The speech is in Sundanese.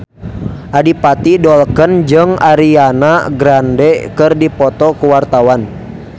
Adipati Dolken jeung Ariana Grande keur dipoto ku wartawan